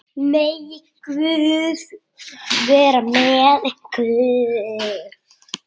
Megi Guð vera með ykkur.